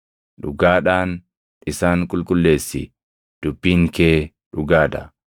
Dhugaadhaan isaan qulqulleessi; dubbiin kee dhugaa dha.